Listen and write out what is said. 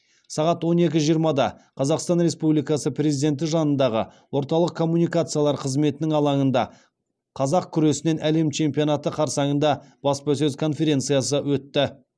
сағат он екі жиырмада қазақстан республикасы президенті жанындағы орталық коммуникациялар қызметінің алаңында қазақ күресінен әлем чемпионаты қарсаңында баспасөз конференциясы өтті